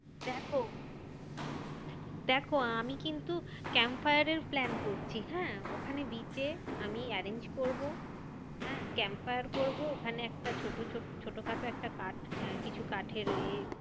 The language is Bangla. দেখো দেখো আমি কিন্তু campfire এর plan করছি হ্যাঁ? ওখানে beach এ আমি arrange করবো হ্যাঁ? campfire করবো ওখানে একটা ছোট ছোট~ ছোটোখাটো একটা কাঠ কিছু কাঠের এ